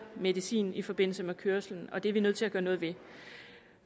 medicin i forbindelse med kørslen og det er vi nødt til at gøre noget ved